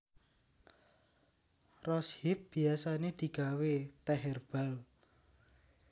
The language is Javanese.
Rose hip biasané digawé tèh hèrbal